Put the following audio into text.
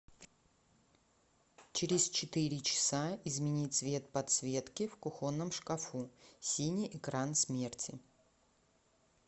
через четыре часа измени цвет подсветки в кухонном шкафу синий экран смерти